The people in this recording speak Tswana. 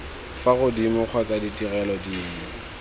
fa godimo kgotsa ditirelo dinngwe